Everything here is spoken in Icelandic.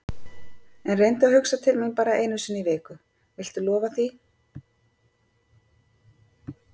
En reyndu að hugsa til mín bara einu sinni í viku, viltu lofa því?